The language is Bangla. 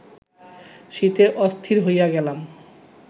শীতে অস্থির হইয়া গেলাম